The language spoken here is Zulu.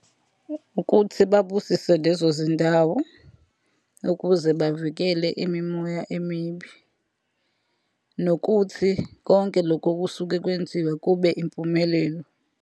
Ukuthi babusise lezo zindawo, ukuze bavikele imimoya emibi. Nokuthi konke lokhu okusuke kwenziwa kube impumelelo.